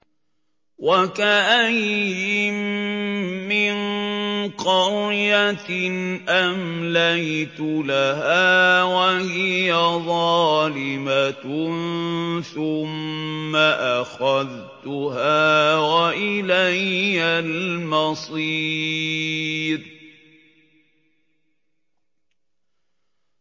وَكَأَيِّن مِّن قَرْيَةٍ أَمْلَيْتُ لَهَا وَهِيَ ظَالِمَةٌ ثُمَّ أَخَذْتُهَا وَإِلَيَّ الْمَصِيرُ